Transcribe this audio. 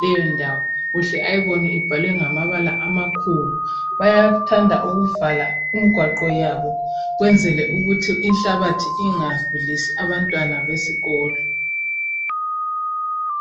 leyo ndawo uhle ayibone ibhalwe ngamabala amakhulu bayathanda ukuvala imigwaqo yabo kwenzela ukuthi inhlabathi ingagulisi abantwana besikolo.